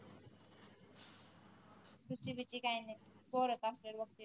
रुची बीची काही नाही